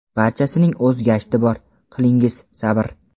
Barchasining o‘z gashti bor, qilingiz sabr.